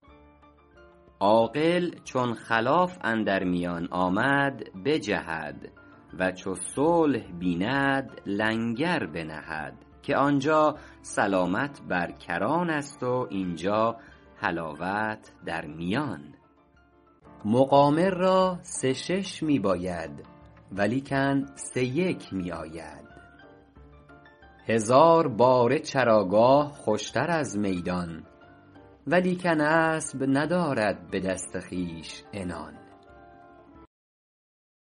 عاقل چون خلاف اندر میان آمد بجهد و چو صلح بیند لنگر بنهد که آنجا سلامت بر کران است و اینجا حلاوت در میان مقامر را سه شش می باید ولیکن سه یک می آید هزار باره چراگاه خوشتر از میدان ولیکن اسب ندارد به دست خویش عنان